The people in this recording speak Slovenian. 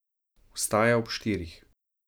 Vstaja ob štirih.